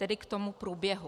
Tedy k tomu průběhu.